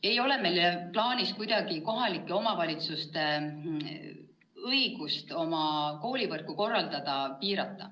" Ei ole meil olnud plaanis piirata kohalike omavalitsuste õigust oma koolivõrku korraldada.